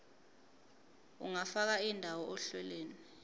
ungafaka indawo ohlelweni